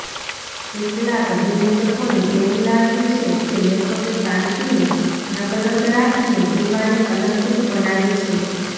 કેટલાંક વિવેચકોને એવું લાગ્યું છે કે લેખકે કાંતીને નકલંક રાખીને દીવાને કલંકિત બનાવી છે